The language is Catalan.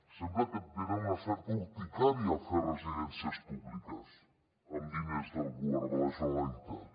sembla que tenen una certa urticària a fer residències públiques amb diners del govern de la generalitat